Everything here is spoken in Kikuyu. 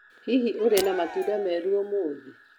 Hihi ũrĩ na matunda merũ ũmũthĩ?